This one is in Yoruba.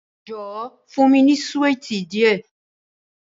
Jọwọ, fun mi ni suwiti diẹ